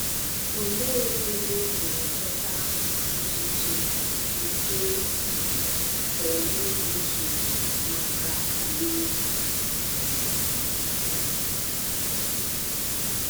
Olee ebe ị pụrụ Chọta ntụ ntụ nke Phenibutu maka òríré?